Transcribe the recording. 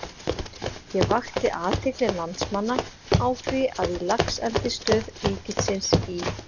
Ég vakti athygli landsmanna á því að í Laxeldisstöð ríkisins í